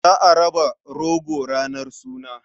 Za a raba goro ranar suna.